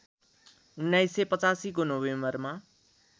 १९८५ को नोभेम्बरमा